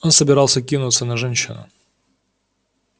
он собирался кинуться на женщину